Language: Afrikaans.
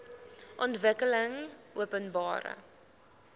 ontwikkelingopenbare